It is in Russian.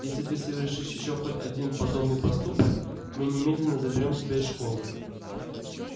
если ты совершишь ещё хоть один подобный поступок мы немедленно заберём тебя из школы